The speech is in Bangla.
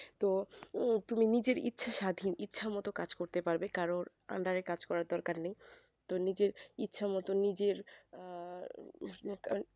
তো তুমি নিজের ইচ্ছে স্বাধীন ইচ্ছা মতন কাজ করতে পারবে কারোর under এ কাজ করার দরকার নেই তো নিজের ইচ্ছা মতন নিজের আহ